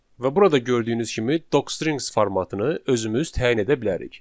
Və burada gördüyünüz kimi docstring formatını özümüz təyin edə bilərik.